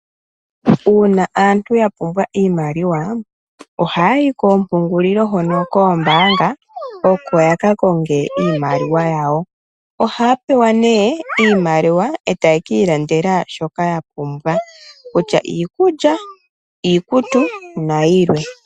Uuna aantu yapumbwa iimaliwa ohaayi koompungulilo hono kombaanga oko yaka konge iimaliwa yawo. Ohaya pewa nee iimaliwa etaye kiilandela shoka yapumbwa kutya iikulya iikutu nayilwe.